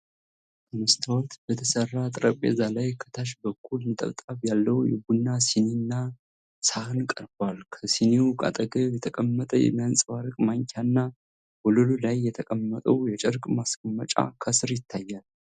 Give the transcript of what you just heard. ከመስታወት በተሠራ ጠረጴዛ ላይ ከታች በኩል ነጠብጣብ ያለው የቡና ሲኒና ሳህን ቀርቧል። ከሲኒው አጠገብ የተቀመጠ የሚያንፀባርቅ ማንኪያና ወለሉ ላይ የተቀመጠው የጨርቅ ማስቀመጫ ከስር ይታያል።